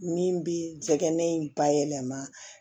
Min bi jɛgɛ ne bayɛlɛma